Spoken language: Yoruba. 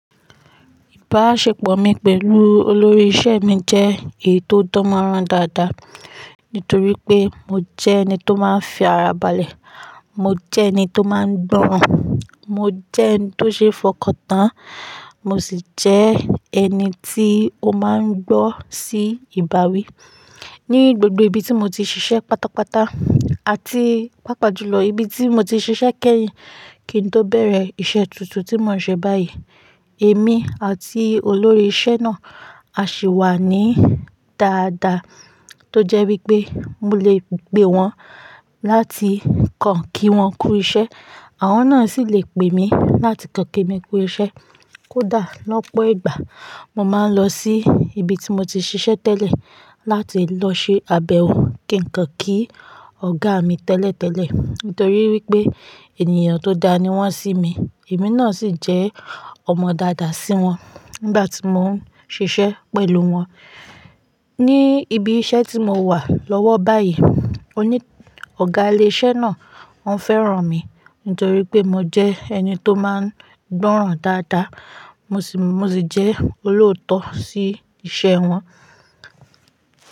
Ìbáṣepọ̀ mi pẹ̀lú olórí iṣẹ́ mi jẹ́ èyí tó dánmọ́nrán dáadáa nítorí pé mo jẹ́ ẹni tó máa ń fi ara balẹ̀, mo jẹ ẹni tó máa ń gbọ́ràn, mo jẹ́ ẹni tó ṣeé fọkàntán, mo sì jẹ́ ẹni tí ó máa ń gbọ́ sí ìbáwí. Ni gbogbo ibi tí mo ti ṣiṣẹ́ pátápátá àti pàápàá jùlọ́ ibi tí mo ti ṣiṣẹ́ kẹ́yìn kí n tó bẹ̀rẹ̀ iṣẹ́ tuntun tí mò ń ṣe báyìí, èmi àti olórí iṣẹ́ náà a sì wà ní dáadáa tó jẹ́ wípé mo lè pè wọ́n láti kan kí wọ́n ku iṣẹ́, àwọn náà sì lè pè mi láti kan kí mi kó iṣẹ́. Kódà lọ́pọ̀ ìgbà, mo máa ń lọ sí ibi tí mo ti ṣiṣẹ́ tẹ́lẹ̀ láti lọ ṣe abẹ̀wò kí n kàn kí Ọ̀gá mi tẹ́lẹ̀tẹ́lẹ̀ nítorí wípé ènìyàn tó dá ni wọ́n sí mi, èmi náà sì jẹ́ ọmọ dáadáa sí wọn nígbà tí mò ń ṣiṣẹ́ pẹ̀lú wọn. Ni ibi iṣẹ́ tí mo wà lọ́wọ́ báyìí, oní-- ọ̀gá ilẹ́ṣẹ́ náà wọ́n fẹ́ràn mi nítorí pé mo jẹ́ ẹni tó máa ń gbọ́ràn dáadáa, mo sì jẹ́ olóòótọ́ sí iṣẹ́ wọn.